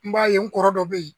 N b'a ye n kɔrɔ dɔ be yen